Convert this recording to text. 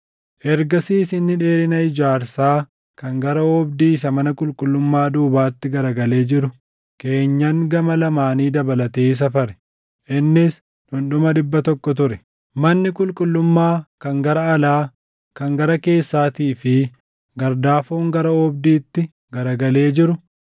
Ergasiis inni dheerina ijaarsaa kan gara oobdii isa mana qulqullummaa duubaatti garagalee jiru keenyan gama lamaanii dabalatee safare; innis dhundhuma dhibba tokko ture. Manni qulqullummaa kan gara alaa, kan gara keessaatii fi gardaafoon gara oobdiitti garagalee jiru,